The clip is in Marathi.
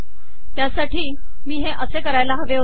त्यासाठी मी हे असे करायला हवे होते